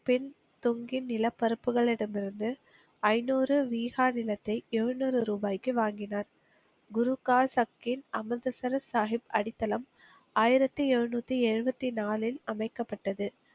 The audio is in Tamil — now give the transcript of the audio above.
பெண் தொங்கின் நிலப் பரப்புகளிடமிருந்து ஐநூறு வீகா நிலத்தை எழுநூறு ரூபாய்க்கு வாங்கினார். குருக்கார் சப்கின் அமிர்த சரஸ் சாஹிப் அடித்தளம் ஆயிரத்தி எழுநூத்தி எழுபத்தி நாலில் அமைக்கப்பட்டது.